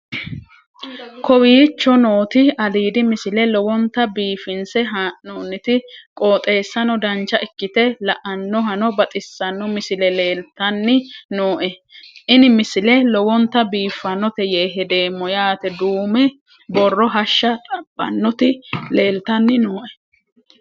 kowicho nooti aliidi misile lowonta biifinse haa'noonniti qooxeessano dancha ikkite la'annohano baxissanno misile leeltanni nooe ini misile lowonta biifffinnote yee hedeemmo yaate duume borro hashsha xabbannoti leeltanni nooe